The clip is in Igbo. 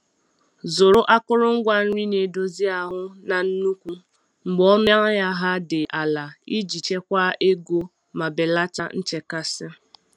Zụrụ akụrụngwa nri na-edozi ahụ na nnukwu mgbe ọnụ ahịa ha dị ala iji chekwaa ego ma belata nchekasị.